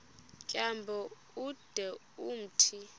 tyambo ude umthi